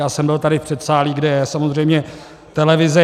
Já jsem byl tady v předsálí, kde je samozřejmě televize.